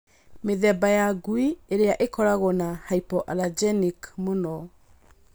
mĩthemba ya ngui ĩrĩa ĩkoragwo na hypoallergenic mũno